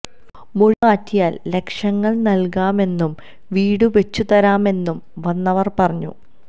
മൊഴി മാറ്റിയാൽ ലക്ഷങ്ങൾ നൽകാമെന്നും വീട് വച്ചുതരാമെന്നും വന്നവർ പറഞ്ഞു